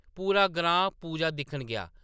पूरा ग्रां पूजा दिक्खन गेआ ।